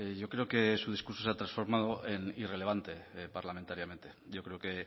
yo creo que su discurso se ha transformado en irrelevante parlamentariamente yo creo que